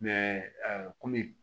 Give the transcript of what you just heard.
komi